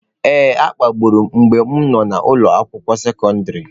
Ee, a kpagburu m mgbe m nọ n'ụlọ akwụkwọ sekọndrị.